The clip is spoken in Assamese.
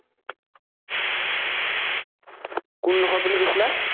কোন ডোখৰত বুলি কৈছিলা?